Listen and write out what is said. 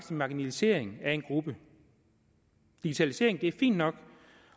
en marginalisering af en gruppe digitalisering er fint nok